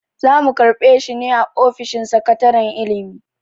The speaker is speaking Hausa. Za mu karɓe shi ne a ofishin sakataren ilimi.